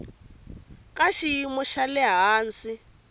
ka xiyimo xa le hansi